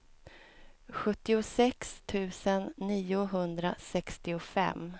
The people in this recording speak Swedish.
sjuttiosex tusen niohundrasextiofem